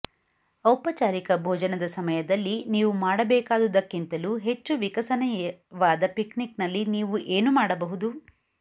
ಔಪಚಾರಿಕ ಭೋಜನದ ಸಮಯದಲ್ಲಿ ನೀವು ಮಾಡಬೇಕಾದುದಕ್ಕಿಂತಲೂ ಹೆಚ್ಚು ವಿಕಸನೀಯವಾದ ಪಿಕ್ನಿಕ್ನಲ್ಲಿ ನೀವು ಏನು ಮಾಡಬಹುದು